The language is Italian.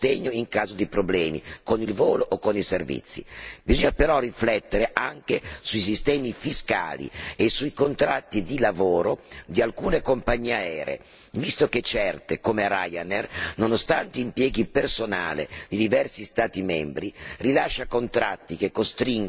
Bisogna però riflettere anche sui sistemi fiscali e sui contratti di lavoro di alcune compagnie aeree visto che certe, come Ryanair, nonostante impieghi personale di diversi Stati membri rilascia contratti che costringono ad eludere il fisco nelle nazioni di provenienza.